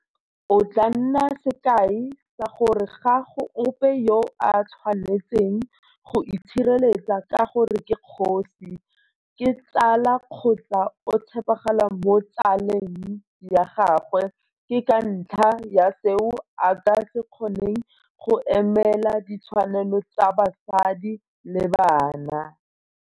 O tla nna sekai sa gore ga go ope yo a tshwanetseng go itshireletsa ka gore ke kgosi, ke tsala kgotsa o tshepagala mo tsale ng ya gagwe ke ka ntlha ya seo a ka se kgoneng go emelela ditshwanelo tsa basadi le bana.